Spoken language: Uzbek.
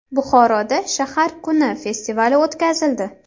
Buxoroda shahar kuni festivali o‘tkazildi .